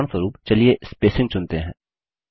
उदाहरणस्वरुप चलिए स्पेसिंग चुनते हैं